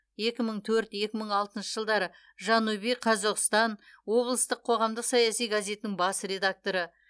екі мың төрт екі мың алтыншы жылдары жанубий қазоғстан облыстық қоғамдық саяси газетінің бас редакторы